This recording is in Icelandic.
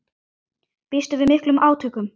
Býstu við miklum átökum?